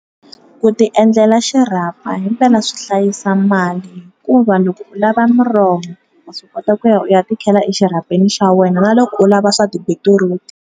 Ku ti endlela xirhapa hi mpela swi hlayisa mali hikuva loko u lava miroho wa swi kota ku ya u ya ti khela exirhapeni xa wena na loko u lava swa tibitiruti.